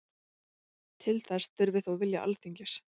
Til þess þurfi þó vilja Alþingis